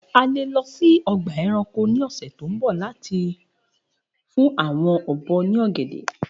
A le lọ si ọgba ẹranko ni ọsẹ to nbọ lati jẹun ogede si awọn obo